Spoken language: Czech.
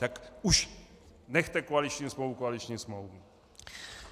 Tak už nechte koaliční smlouvu koaliční smlouvou.